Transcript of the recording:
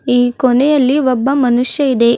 ಈ ಕೊನೆಯಲ್ಲಿ ಒಬ್ಬ ಮನುಷ್ಯ ಇದೆ.